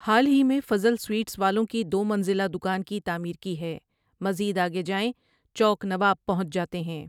حال ہی میں فضل سوئیٹس والوں کی دو منزلہ دکان کی تعمیر کی ہے مزید آگے جائیں چوک نواب پہنچ جاتے ہیں۔